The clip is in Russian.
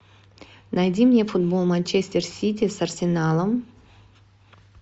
найди мне футбол манчестер сити с арсеналом